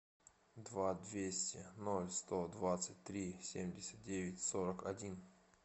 два двести ноль сто двадцать три семьдесят девять сорок один